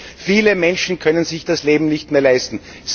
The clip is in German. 5 Viele Menschen können sich das Leben nicht mehr leisten.